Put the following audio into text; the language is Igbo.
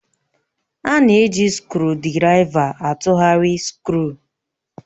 A na-eji skrụdiraiva atụgharị skru